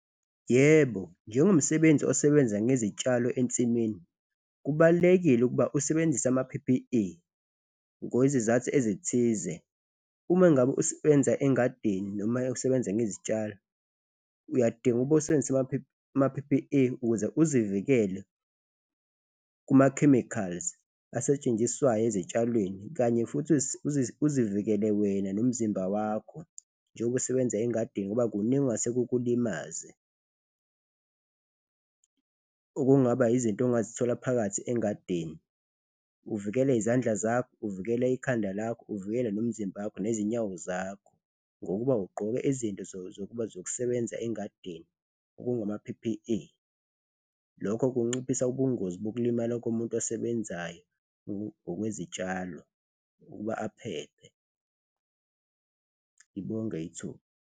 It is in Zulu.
Yebo, njengomsebenzi osebenza ngezitshalo ensimini, kubalulekile ukuba usebenzise ama-P_P_E ngokwezizathu ezithize. Uma ngabe usebenza engadini noma usebenza ngezitshalo, uyadinga ukuba usebenzise ama-P_P_E ukuze uzivikele kuma-chemicals asetshenziswayo ezitshalweni kanye futhi uzivikele wena nomzimba wakho njengoba usebenza engadini ngoba kuningi okungase kukulimaze, okungaba izinto ongazithola phakathi engadini. Uvikele izandla zakho, uvikele ikhanda lakho, uvikele nomzimba wakho nezinyawo zakho ngokuba ugqoke izinto zokusebenza engadini okungama-P_P_E, lokho kunciphisa ubungozi bokulimala komuntu osebenzayo ngokwezitshalo ukuba aphephe, ngibonge ithuba.